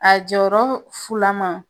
A jɔyɔrɔ fulaman